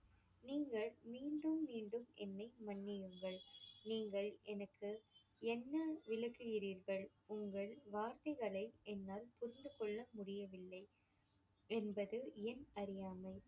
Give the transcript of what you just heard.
நீங்கள் மீண்டும் மீண்டும் என்னை மன்னியுங்கள் நீங்கள் எனக்கு என்ன விளக்குகிறீர்கள். உங்கள் வார்த்தைகளை என்னால் புரிந்து கொள்ள முடியவில்லை என்பது என் அறியாமை.